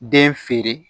Den feere